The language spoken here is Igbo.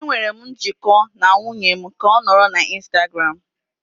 Enwere m njikọ na nwunye m ka ọ nọrọ na Instagram.